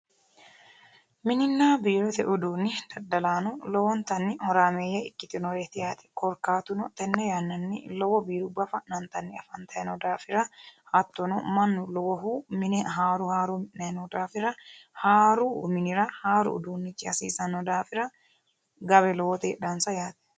Minninna biirote uduunni dadalaano lowontanni horaameeye ikitinoreti yaate korkaatuno tenne yannanni lowo biiruba fa'nantanni afantayi noo daafira hattono Manu lowohu mine haaro haaro mi'nayi noo daafira haaru minnira haaru uduunichi hasiisano daafira e'eo lowoti hasiisanonsa yaate.